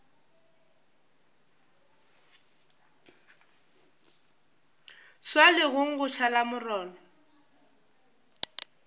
swa legong gwa šala molora